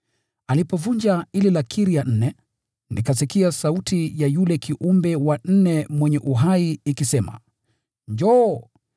Alipovunja ile lakiri ya nne, nikasikia sauti ya yule kiumbe wa nne mwenye uhai ikisema, “Njoo!”